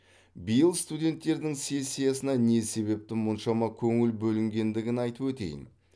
биыл студенттердің сессиясына не себепті мұншама көңіл бөлінгендігін айтып өтейін